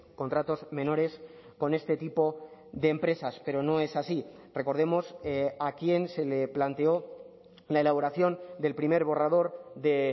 contratos menores con este tipo de empresas pero no es así recordemos a quién se le planteó la elaboración del primer borrador de